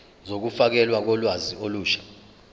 zokufakelwa kolwazi olusha